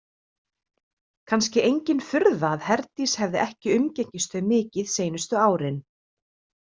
Kannski engin furða að Herdís hefði ekki umgengist þau mikið seinustu árin.